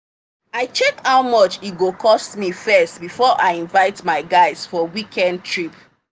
i check how much e go cost me first before i invite my guys for weekend trip.